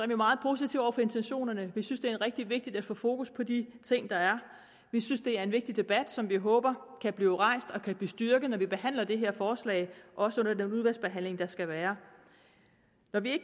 vi meget positive over for intentionerne vi synes det er rigtig vigtigt at få fokus på de ting der er vi synes det er en vigtig debat som vi håber kan blive rejst og kan blive styrket når vi behandler det her forslag også under den udvalgsbehandling der skal være når vi